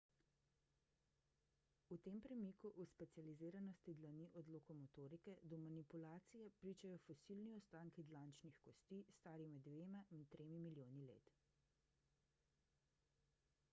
o tem premiku v specializiranosti dlani od lokomotorike do manipulacije pričajo fosilni ostanki dlančnih kosti stari med dvema in tremi milijoni let